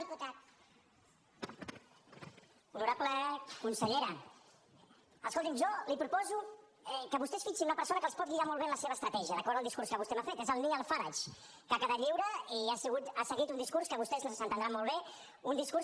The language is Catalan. honorable consellera escolti’m jo li proposo que vostè es fixi en una persona que els pot guiar molt bé en la seva estratègia d’acord amb el discurs que vostè m’ha fet és el nigel farage que ha quedat lliure i ha seguit un discurs que vostès entendran molt bé un discurs